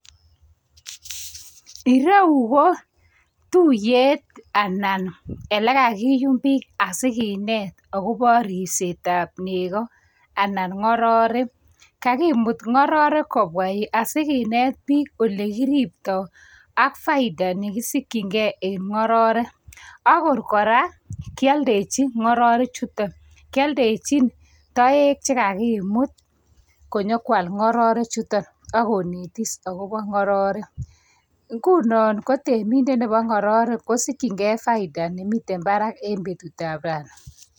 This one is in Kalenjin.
Ireyu ko tuiyet anan lekakiyum pik asi kinet akobo ripsetab nego anan ng'ororek. Kakimut ng'orkrek kobwa yu asikinet pik